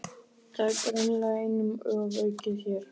Það er greinilega einum ofaukið hér.